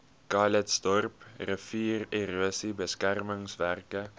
calitzdorp riviererosie beskermingswerke